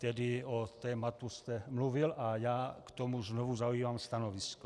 Tedy o tématu jste mluvil a já k tomu znovu zaujímám stanovisko.